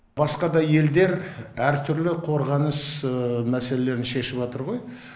басқа да елдер әртүрлі қорғаныс мәселелерін шешіп атыр ғой